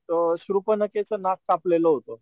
शुर्फनखेच च नाक कापलेल होत.